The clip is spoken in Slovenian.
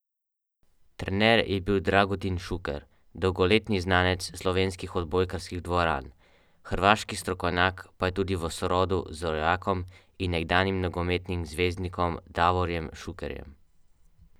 Ravno enostavnost pa je v nogometu vedno najtežja.